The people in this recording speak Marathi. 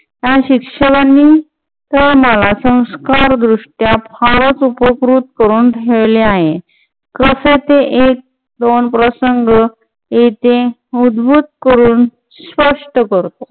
या शिक्षकांनी मला संस्कार दृष्ट्या फारच उपकृत करून ठेवले आहे. कसे ते एक दोन प्रसंग? येथे उद्भूत करून स्वस्थ करतो.